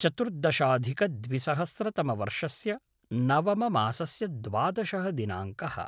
चतुर्दशाधिकद्विसहस्रतमवर्षस्य नवममासस्य द्वादशः दिनाङ्कः